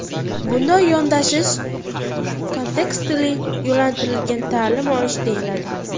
Bunday yondashish kontekstli-yo‘naltirilgan ta’lim olish deyiladi.